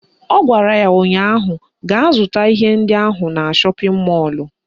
Ọ gwara ya ụnyaahụ "Gaa zụta ihe ndị ahụ na shọpịn mọlụ"